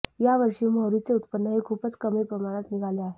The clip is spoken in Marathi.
या वर्षी मोहरीचे उत्पन्न हे खूपच कमी प्रमाणात निघाले आहे